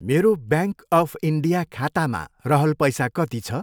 मेरो bank of India खातामा रहल पैसा कति छ?